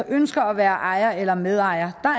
ønsker at være ejer eller medejer